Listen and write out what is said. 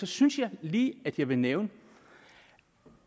synes jeg lige at jeg vil nævne at